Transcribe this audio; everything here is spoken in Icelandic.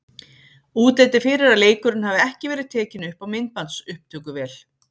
Útlit er fyrir að leikurinn hafi ekki verið tekinn upp á myndbandsupptökuvél.